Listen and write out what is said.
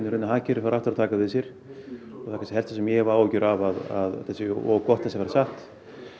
hagkerfið fari aftur að taka við sér það helsta sem ég hef áhyggjur af því að þetta sé of gott til að vera satt